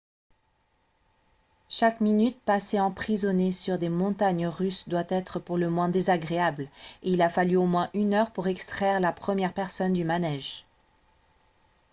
chaque minute passée emprisonné sur des montagnes russes doit être pour le moins désagréable et il a fallu au moins une heure pour extraire la première personne du manège. »